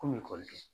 Komi ekɔliden